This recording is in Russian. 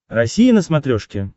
россия на смотрешке